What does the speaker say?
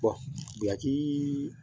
buyaki